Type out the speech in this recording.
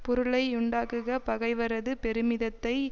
பொருளையுண்டாக்குக பகைவரது பெருமிதத்தை